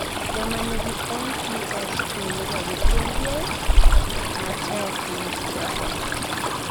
jomanigi MPS II nigagi pien del matek maokyware